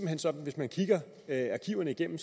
hen sådan at hvis man kigger arkiverne igennem